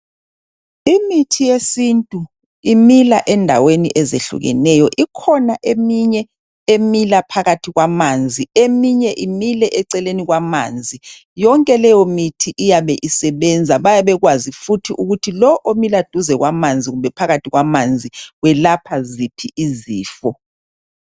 Imithi yesintu imila endaweni ezehlukeneyo, ikhona eminye emila phakathi kwamanzi eminye imile eceleni kwamanzi. Yonke leyo mithi iyabe isebenza. Bayabe bekwazi futhi ukuthi lo omila duze kwamanzi kumbe phakathi kwamanzi welapha ziphi izifo.